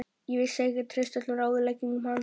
Ég vissi að ég gat treyst öllum ráðleggingum hans.